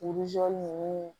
ninnu